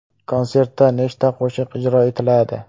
Konsertda nechta qo‘shiq ijro etiladi?